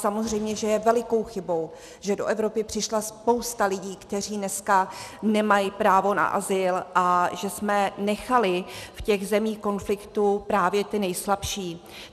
Samozřejmě že je velikou chybou, že do Evropy přišla spousta lidí, kteří dneska nemají právo na azyl, a že jsme nechali v těch zemích konfliktu právě ty nejslabší.